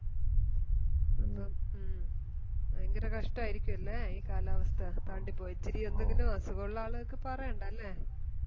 ഭയങ്കര കഷ്ട്ടായിരിക്കുവല്ലേ ഈ കാലാവസ്ഥ അസുഗോള്ള ആളുകൾക്ക് പറയണ്ട അല്ലെ